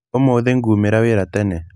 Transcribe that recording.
Ũmũthĩ ngumĩĩra wĩra tene.